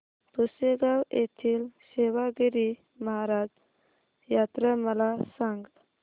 पुसेगांव येथील सेवागीरी महाराज यात्रा मला सांग